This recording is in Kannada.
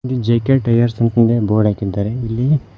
ಈ ಜೆ_ಕೆ ಟೈರ್ಸ್ ಅಂತ ಅಂದ್ ಹೇಳಿ ಬೋರ್ಡ್ ಹಾಕಿದ್ದಾರೆ ಇಲ್ಲಿ --